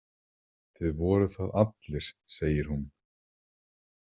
Þið voruð það allir, segir hún.